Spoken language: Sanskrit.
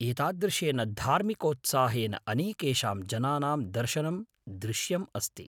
एतादृशेन धार्मिकोत्साहेन अनेकेषां जनानां दर्शनं दृश्यम् अस्ति।